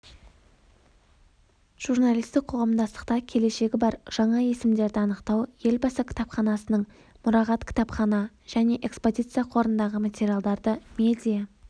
журналистік қоғамдастықта келешегі бар жаңа есімдерді анықтау елбасы кітапханасының мұрағат кітапхана және экспозиция қорындағы материалдарды медиа